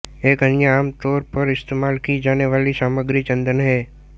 एक अन्य आमतौर पर इस्तेमाल की जाने वाली सामग्री चंदन है